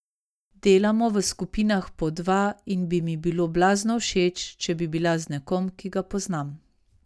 Delamo v skupinah po dva in bi mi bilo blazno všeč, če bi bila z nekom, ki ga poznam.